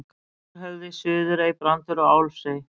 Stórhöfði, Suðurey, Brandur og Álfsey.